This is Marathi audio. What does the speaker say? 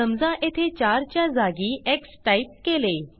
समजा येथे चारच्या जागी एक्स टाईप केले